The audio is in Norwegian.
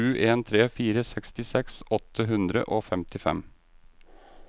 sju en tre fire sekstiseks åtte hundre og femtifem